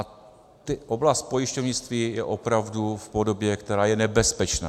A oblast pojišťovnictví je opravdu v podobě, která je nebezpečná.